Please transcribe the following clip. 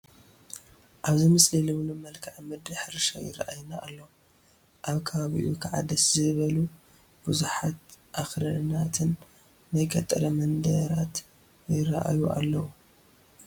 ኣብዚ ምስሊ ልምሉም መልክኣ ምድሪ ሕርሻ ይርአየና ኣሎ፡፡ ኣብ ከባቢኡ ከዓ ደስ ዝብሉ ብዙሓት ኣኽራናትን ናይ ገጠር መንደራት ይርአዩ ኣለዉ፡፡